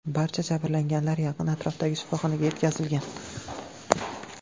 Barcha jabrlanganlar yaqin atrofdagi shifoxonaga yetkazilgan.